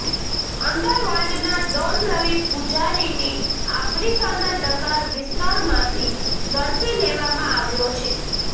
under વર્લ્ડના don Ravi પૂજારીની આફ્રિકાના ડકાર વિસ્તારમાંથી ઝડપી લેવામાં આવ્યો છે